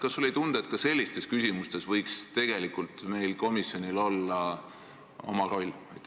Kas sulle ei tundu, et ka sellistes küsimustes võiks meie komisjonil olla oma roll?